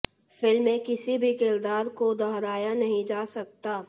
film के किसी भी किरदार को दोहराया नहीं जा सकता